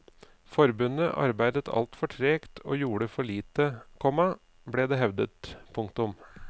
Forbundet arbeidet alt for tregt og gjorde for lite, komma ble det hevdet. punktum